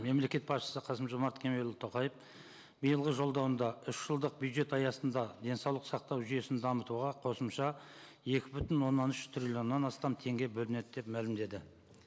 мемлекет басшысы қасым жомарт кемелұлы тоқаев биылғы жолдауында үш жылдық бюджет аясында денсаулық сақтау жүйесін дамытуға қосымша екі бүтін оннан үш триллионнан астам теңге бөлінеді деп мәлімдеді